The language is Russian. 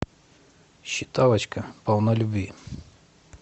считалочка полналюбви